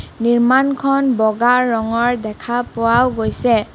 নিৰ্মাণখন বগা ৰঙৰ দেখা পোৱাও গৈছে আ--